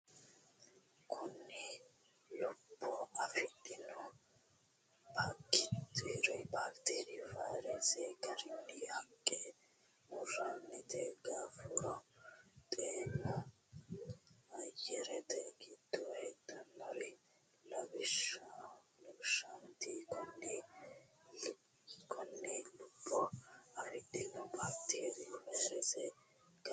Konni lubbo afidhinori baakiteeriyunna vayirese garinni haqqe murante gooffuro xeenu ayyarete giddo heedhanori lawishshaati Konni lubbo afidhinori baakiteeriyunna vayirese garinni.